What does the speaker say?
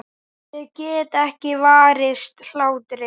Ég get ekki varist hlátri.